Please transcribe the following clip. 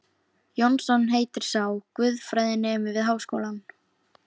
Jónsson heitir sá, guðfræðinemi við Háskólann.